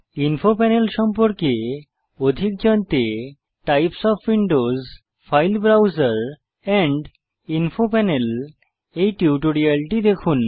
info panel সম্পর্কে অধিক জানতে টাইপ ওএফ উইন্ডোজ ফাইল ব্রাউসের এন্ড ইনফো পানেল টিউটোরিয়ালটি দেখুন